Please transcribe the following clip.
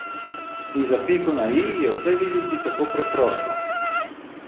In za piko na i je vse videti tako preprosto.